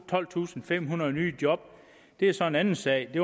tolvtusinde og femhundrede nye job er så en anden sag det